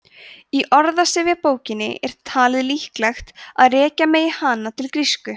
í orðsifjabókinni er talið líklegt að rekja megi hana til grísku